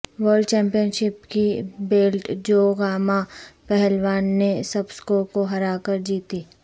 world championship کی belt جو گاماں پہلوان نے زبسکو کو ہرا کر جیتی